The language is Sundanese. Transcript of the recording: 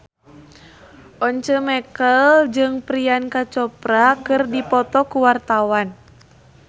Once Mekel jeung Priyanka Chopra keur dipoto ku wartawan